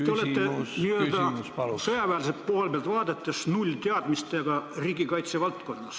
Te olete sõjaväelise poole pealt vaadates nullteadmistega riigikaitse valdkonnas.